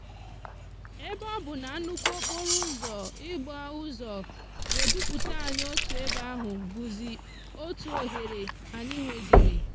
ebe òbu na nnukwu okporo úzò igba úzò ga eduputa anyi otu ebe ahú búzi otu ohere anyi nweziri.